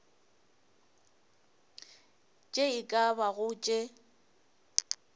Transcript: tše e ka bago tše